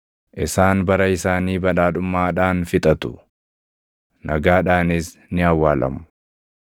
Isaan bara isaanii badhaadhummaadhaan fixatu; nagaadhaanis ni awwaalamu.